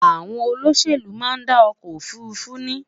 àwọn olóṣèlú má n dá ọkọ òfurufú ní